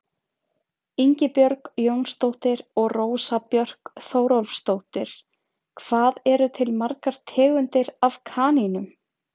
Ingibjörg Jónsdóttir og Rósa Björk Þórólfsdóttir: Hvað eru til margar tegundir af kanínum?